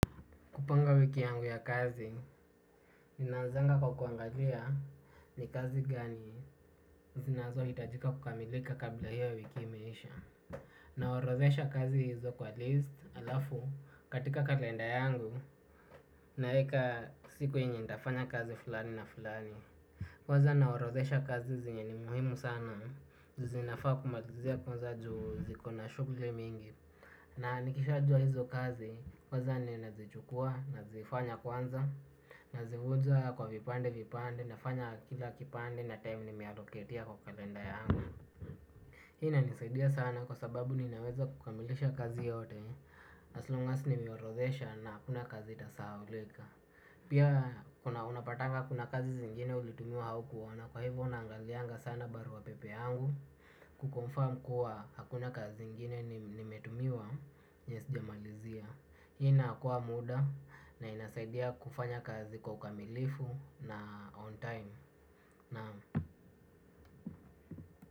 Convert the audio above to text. Kupanga wiki yangu ya kazi, ninaanzanga kwa kuangalia ni kazi gani zinazohitajika kukamilika kabla hiyo wiki imeisha. Naorozesha kazi hizo kwa list alafu katika kalenda yangu, naeka siku yenye nitafanya kazi fulani na fulani. Kwaza naorodhesha kazi zenye ni muhimu sana, zinafaa kumalizia kwanza juu ziko na shughuli mingi. Na nikishajua hizo kazi kwaza ninazichukua, nazifanya kwanza, nazivunja kwa vipande vipande nafanya kila kipande na time ni mialoketia kwa kalenda yangu. Hii inanisidia sana kwa sababu ninaweza kukamilisha kazi yote as long as nimeorodhesha na hakuna kazi itasaulika. Pia kuna unapatanga kuna kazi zingine ulitumiwa haukuona. Kwa hivyo naangalianga sana baru wa pepe angu. Kuconfirm kuwa hakuna kazi zingine nimetumiwa na sijamalizia. Hii inaokoa muda na inasaidia kufanya kazi kwa ukamilifu na on time.